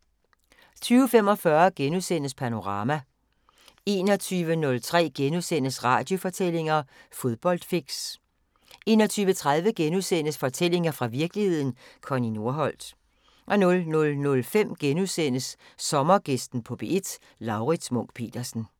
20:45: Panorama * 21:03: Radiofortællinger: Fodboldfix * 21:30: Fortællinger fra virkeligheden – Connie Nordholt * 00:05: Sommergæsten på P1: Laurits Munch-Petersen *